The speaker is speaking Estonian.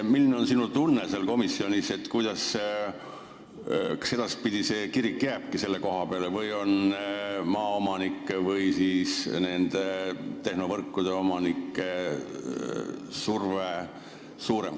Milline oli sinu tunne seal komisjonis, kas edaspidi kirik jääbki selle koha peale või on maaomanike ja tehnovõrkude omanike surve suurem?